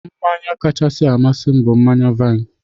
Mmanya kachasị amasị m bụ mmanya vaịn.